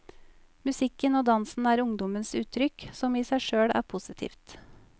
Musikken og dansen er ungdommenes uttrykk, som i seg sjøl er positivt.